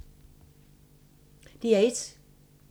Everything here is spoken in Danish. DR1